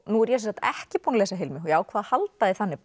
nú er ég ekki búin að lesa Hilmu og ákvað að halda því þannig